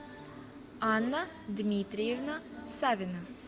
анна дмитриевна савина